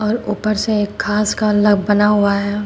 और ऊपर से एक घास का अलग बना हुआ है।